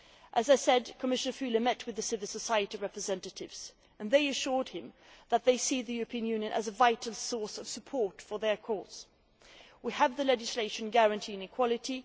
As I said, Commissioner Füle met civil society representatives and they assured him that they see the European Union as a vital source of support for their cause. We have legislation guaranteeing equality